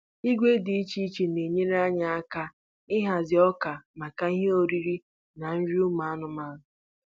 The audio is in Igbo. Igwe dị iche iche na-enyere anyị aka ịhazi ọka maka ihe oriri na nri ụmụ anụmanụ.